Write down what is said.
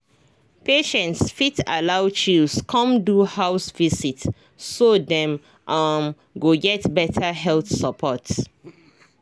patients fit allow chws come do house visit so dem um go get better health support.